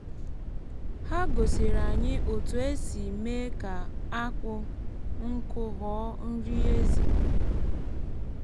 ha gosiere anyị otu esi mee ka akpụ nkụ ghọọ nri ezì.